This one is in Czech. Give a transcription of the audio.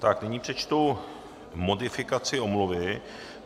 Tak nyní přečtu modifikaci omluvy.